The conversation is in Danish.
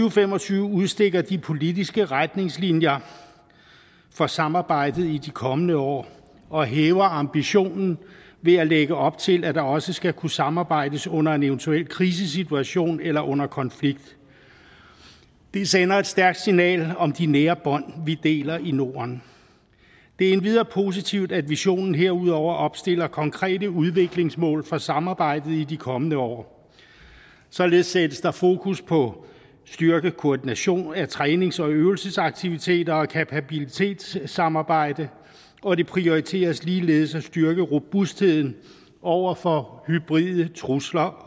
og fem og tyve udstikker de politiske retningslinjer for samarbejdet i de kommende år og hæver ambitionen ved at lægge op til at der også skal kunne samarbejdes under en eventuel krisesituation eller under konflikt det sender et stærkt signal om de nære bånd vi har i norden det er endvidere positivt at visionen herudover opstiller konkrete udviklingsmål for samarbejdet i de kommende år således sættes der fokus på at styrke koordination af trænings og øvelsesaktiviteter og kapabilitetssamarbejde og det prioriteres ligeledes at styrke robustheden over for hybride trusler